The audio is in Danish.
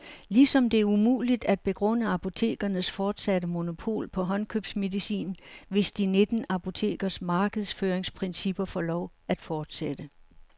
Ligesom det er umuligt at begrunde apotekernes fortsatte monopol på håndkøbsmedicin, hvis de nitten apotekers markedsføringsprincipper får lov at fortsætte.